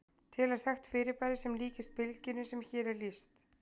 Til er þekkt fyrirbæri sem líkist bylgjunni sem hér er lýst.